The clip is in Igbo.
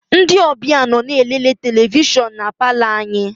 Ndị ọbịa nọ na-elele televishọn na palọ anyị.